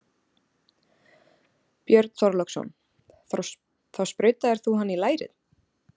Björn Þorláksson: Þá sprautaðir þú hana í lærið?